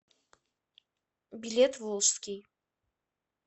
билет волжский